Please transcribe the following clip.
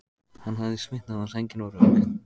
Hann hafði svitnað og sængin var rök.